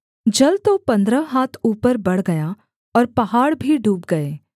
जल तो पन्द्रह हाथ ऊपर बढ़ गया और पहाड़ भी डूब गए